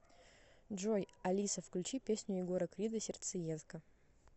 джой алиса включи песню егора крида сердцеедка